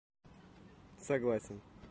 согласен